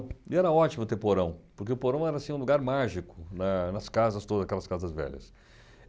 E era ótimo ter porão, porque o porão era assim um lugar mágico na nas casas todas, aquelas casas velhas.